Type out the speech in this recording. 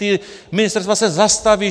Ta ministerstva se zastaví.